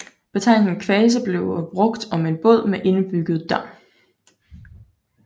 Betegnelsen kvase bliver brugt om en båd med indbygget dam